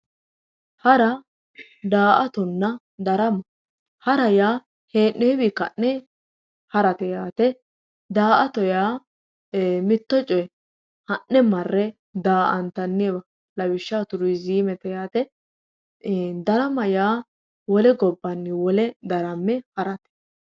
Hara, da"aattonna darama ,ha'ra yaa hee'nowinni ka'ne ha'rate yaate da"aatto yaa mitto coye ha'ne marre da"aantanniwa lawishshaho turizimete yaate, darama yaa wole gobbanni wole darame ha'rate